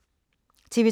TV 2